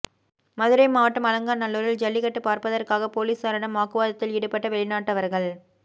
மதுரை மாவட்டம் அலங்காநல்லூரில் ஜல்லிக்கட்டு பாா்பதற்காக போலீஸாரிடம் வாக்குவாதத்தில் ஈடுபட்ட வெளிநாட்டவா்கள்